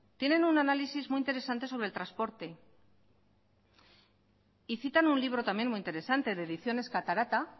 tienen un análisis muy interesante sobre el transporte y citan un libro también muy interesante de ediciones catarata